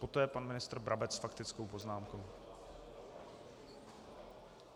Poté pan ministr Brabec s faktickou poznámkou.